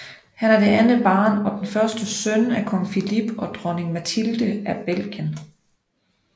Han er det andet barn og den første søn af Kong Philippe og Dronning Mathilde af Belgien